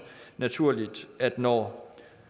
naturligt at når